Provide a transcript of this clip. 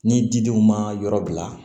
Ni didenw ma yɔrɔ bila